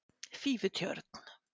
Fífutjörn